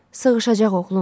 Sığışacaq, oğlum.